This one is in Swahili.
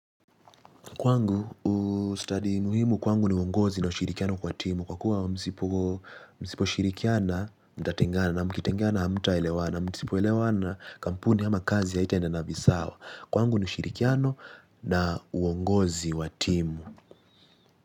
Kwangu ustadi muhimu kwangu ni uongozi na ushirikiano kwa timu kwa kuwa msipo msipo shirikiana mtatengana na mkitengana hamta elewana na msipo elewana kampuni ama kazi haitaendana visawa. Kwangu ni ushirikiano na uongozi wa timu.